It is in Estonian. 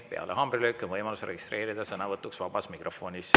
Peale haamrilööki on võimalus registreerida sõnavõtuks vabas mikrofonis.